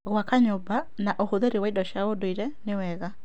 Gwaka nyũmba na ũhũthĩri wa indo cia ndũire nĩ wega.